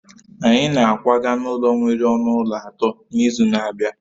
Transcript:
Anyị na-akwaga n'ụlọ nwere ọnụ ụlọ atọ n'izu na-abịa